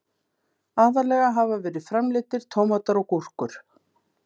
Aðallega hafa verið framleiddir tómatar og gúrkur.